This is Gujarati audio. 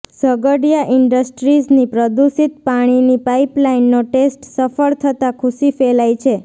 ઝઘડિયા ઇન્ડસ્ટ્રીઝની પ્રદુષિત પાણીની પાઇપલાઇનનો ટેસ્ટ સફળ થતા ખુશી ફેલાઇ છે